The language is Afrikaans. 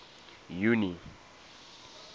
junie